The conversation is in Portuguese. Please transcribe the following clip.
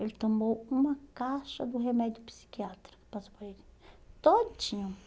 Ele tomou uma caixa do remédio psiquiátrico, passou para ele, todinho.